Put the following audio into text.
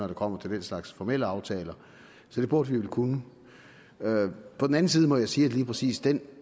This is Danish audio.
det kommer til den slags formelle aftaler så det burde vi vel kunne på den anden side må jeg sige lige præcis den